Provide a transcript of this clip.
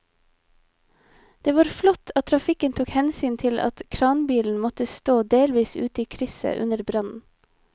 Det var flott at trafikken tok hensyn til at kranbilen måtte stå delvis ute i krysset under brannen.